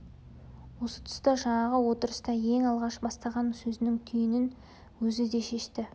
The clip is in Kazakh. осы тұста жаңағы отырыста ең алғаш бастаған сөзінің түйінін өзі де шешті